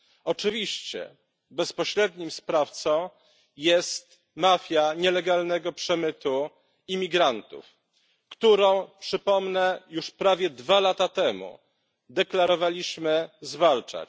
Oczywiście bezpośrednim sprawcą jest mafia nielegalnego przemytu imigrantów, którą przypomnę już prawie dwa lata temu deklarowaliśmy zwalczać.